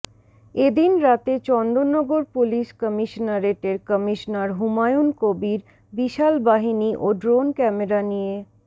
এ দিন রাতে চন্দননগর পুলিশ কমিশনারেটের কমিশনার হুমায়ুন কবীর বিশাল বাহিনী ও ড্রোন ক্যামেরা নিয়ে